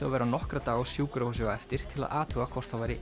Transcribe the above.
að vera nokkra daga á sjúkrahúsi á eftir til að athuga hvort það væri